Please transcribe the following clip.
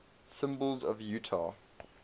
symbols of utah